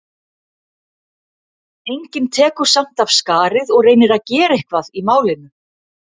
Enginn tekur samt af skarið og reynir að gera eitthvað í málinu.